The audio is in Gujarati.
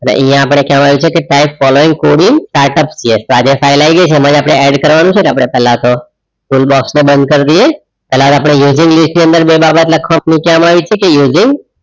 એટલે આઇયાહ અપડે ખ્યાલ આય સકે following કોડિંગ startup PS આ જે ફાઇલ આય ગાય છે એમાં અપડે add કરવાનું છે ને પેહલા આપડે toolbox તો બંધ કાર દઈએ પેહલા અપડે બે બાબત લખવામાં